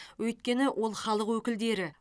өйткені ол халық өкілдері